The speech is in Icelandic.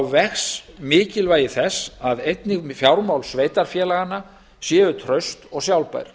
vex mikilvægi þess að einnig fjármál sveitarfélaganna séu traust og sjálfbær